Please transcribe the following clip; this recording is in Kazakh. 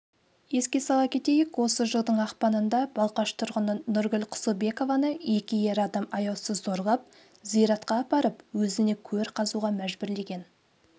еске салса кетейік осы жылдың ақпанында балқаш тұрғыны нұргүл құсылбекованы екі ер адам аяусыз зорлап зиратқа апарып өзіне көр қазуға мәжбүрлеген